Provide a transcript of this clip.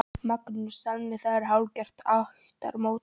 Magnús: Þannig að þetta er hálfgert ættarmót?